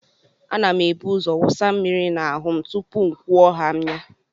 A na m ebuzo wụsa mmiri n'ahụ m tupuu m kwuo haa m ya.